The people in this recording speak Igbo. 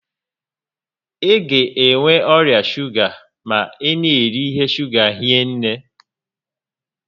Ị ga enwe ọrịa shuga ma ị na'eri ihe shuga hinne